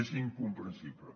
és incomprensible